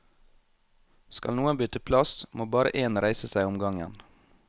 Skal noen bytte plass, må bare én reise seg om gangen.